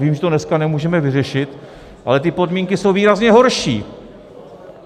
Vím, že to dneska nemůžeme vyřešit, ale ty podmínky jsou výrazně horší!